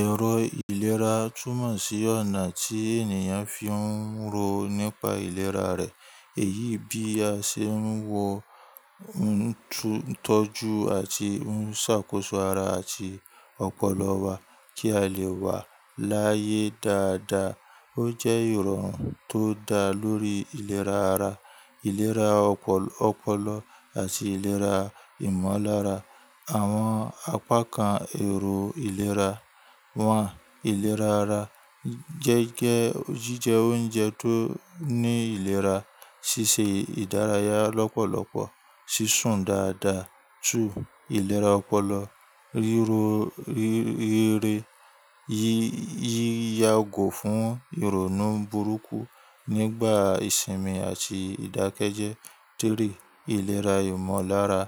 Ẹ̀rọ ìlera túmọ̀ sí ọ̀nà tí ènìyàn fi ń rọ nípa ìlera rẹ̀. Èyí bí a ṣe ń wọ tọ́jú àti ń ṣàkóso ara àti ọpọlọ wa kí a lè wà láyé dáadáa. Ó jẹ́ ìrọ̀rùn tó dá lórí ìlera ara, ìlera ọpọlọ àti ìlera ìmọ̀lára. Àwọn apá kan èrò ìlera wà. Ìlera ara jẹ́ jíjẹ oúnjẹ tó ní ìlera, ṣíṣe ìdárayá lọ́pọ̀lọpọ̀, ṣíṣún dáadáa. 2. Ìlera ọpọlọ, ríro, rere, yíyá gò fún ìrònú burúkú nígbà ìsinmi àti ìdákẹ́jẹ. 3. Iléra ìmọ̀lára,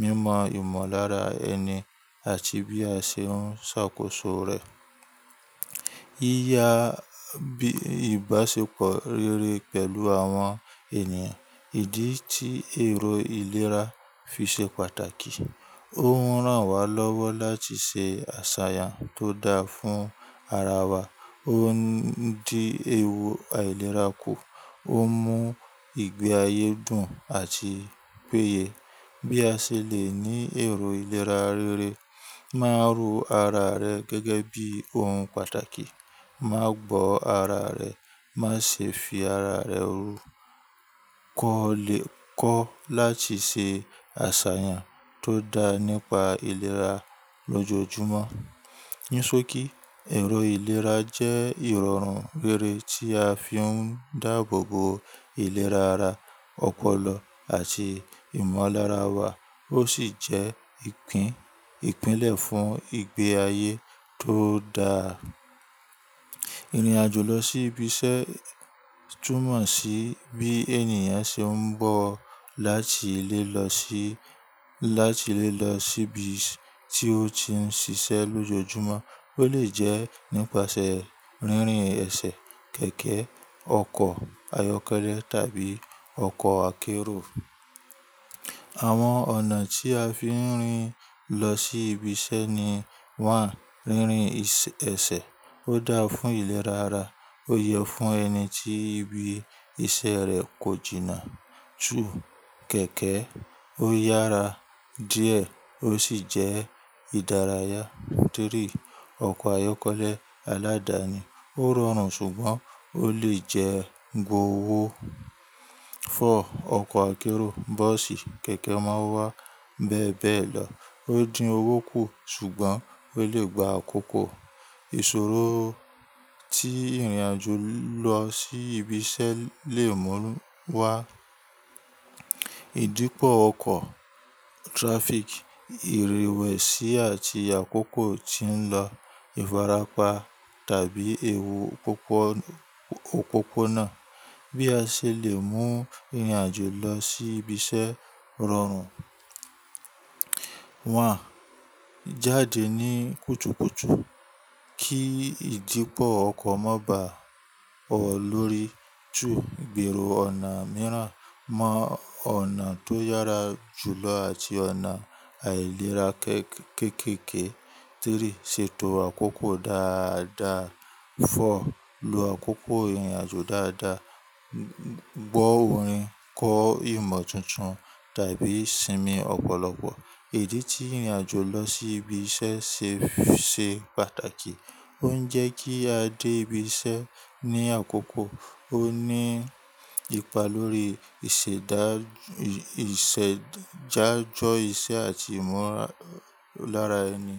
mímọ ìmọ̀lára ẹni àti bí a ṣe ń ṣàkóso rẹ̀. Yíyá, bi ìbáṣepọ̀ rere pẹ̀lú àwọn ènìyàn. Ìdí tí èrò ìlera fi ṣe pàtàkì, ó ń rán wa lọ́wọ́ láti ṣe àṣà tó dáa fún ara wa. Ó ń dí ewu àìlera kù, ó mú ìgbé ayé dùn àti péye. Bí a ṣe lè ní èrò ìlera rere, máa ro ara rẹ gẹ́gẹ́ bí ohun pàtàkì. Má gbọ́ ara rẹ, má ṣe fi ara rẹ rú. Kọ́ láti ṣe àṣàyàn tó dá nípa ìlera lójoojúmọ́. Ní só kí ẹ̀rọ ìlera jẹ́ ìrọ̀run rere tí a fi ń dáàbò bo ìlera ara, ọpọlọ àti ìmọ̀lára wa. Ó sì jẹ́ ìpínlẹ̀ fún ìgbé ayé tó dáa. Irinàjò lọ sí ibi iṣẹ́ túmọ̀ sí bí ènìyàn ṣe ń bọ̀ láti lé lọ sí lati le lo si ibi tí ó ti ń ṣiṣẹ́ lójoojúmọ́. Ó lè jẹ́ nípasẹ̀ rínrin ẹsẹ̀, kẹ̀kẹ́, ọkọ̀ ayọ́kẹ́lẹ́ tàbí ọkọ̀ akérò. Àwọn ọ̀nà tí a fi ń rìn lọ sí ibi iṣẹ́ ni: 1. Rínrin ẹsẹ̀. Ó dáa fún ìlera ara, ó yẹ fún ẹni tí ibi iṣẹ́ rẹ̀ kò jìnnà. 2. Kẹ̀kẹ́. Ó yára díẹ̀ ó sì jẹ́ ìdárayá. 3. Ọkọ̀ ayọ́kẹ́lẹ́ aládàni. Ó rọrùn ṣùgbọ́n ó lè jẹ́ gbowó. 4. Ọkọ̀ akérò, bọ́ọ̀sì, kẹ̀kẹ́ marwa, bẹ́ẹ̀ bẹ́ẹ̀ lọ. Ó dín owó kù ṣùgbọ́n ó lè gba àkókò. Ìṣòro tí ìrìnàjò lọ sí ibi iṣẹ́ lè mú wá. Ídípọ̀ ọkọ̀, traffic, ìrèwẹ̀sì àti àkókò tí ń lọ, ìfarapa tàbí ewu popo òpópónà. Bí a ṣe lè mú ìrìnàjò lọ sí ibi iṣẹ́ rọrùn. 1. Jáde ní kùtùkùtù kí ìdípọ̀ ọkọ̀ má bá ọ lórí. 2. Gbero ọ̀nà mìíràn mọ ọ̀nà tó yára jùlọ àti ọ̀nà àìlera kéékèèké. 3.Ṣètò àkókò dáadáa. 4. Lo àkókò ìrìnàjò dáadáa. Gbọ́ orin, kọ ìmọ̀ tuntun tàbí sinmi ọ̀pọ̀lọpọ̀. Ìdí tí ìrìnàjò lọ sí ibi iṣẹ́ se ṣe pàtàkì, ó ń jẹ́ kí a dé ibi iṣẹ́ ní àkókò, ó ní ipa lórí ìṣẹ̀dájọ́ iṣẹ́ àti ìmọ̀lára ẹni.